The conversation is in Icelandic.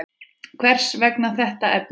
Hvers vegna þetta efni?